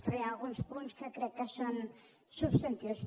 però hi ha alguns punts que crec que són substantius